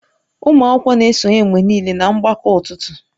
Ụmụ akwụkwọ na-esonye mgbe niile na mgbakọ ụtụtụ